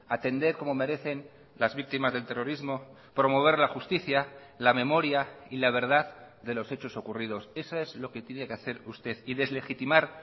atender como merecen las víctimas del terrorismo promover la justicia la memoria y la verdad de los hechos ocurridos eso es lo que tiene que hacer usted y deslegitimar